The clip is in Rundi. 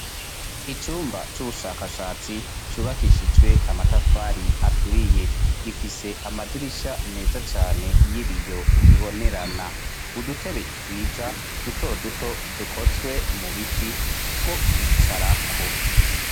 Icumba c'ubushakashatsi cubakishijwe amatafari aturiye gifise amadirisha meza cane y'ibiyo ubibonerana udutebe twiza duto duto dukozwe mu biti two kwicarako.